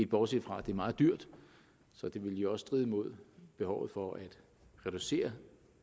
bortset fra at det er meget dyrt så det ville jo også stride imod behovet for at reducere